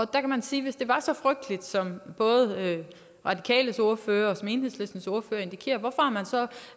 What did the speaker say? der kan man sige hvis det var så frygteligt som både radikales ordfører og enhedslistens ordfører indikerer hvorfor har man så